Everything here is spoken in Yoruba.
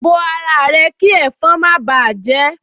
Bo ara rẹ kí ẹ̀fọn má báà jẹ ẹ́